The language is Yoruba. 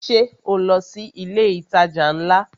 Ṣé o lọ sí ilé itaja ńlá?